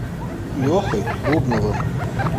лехой бубновым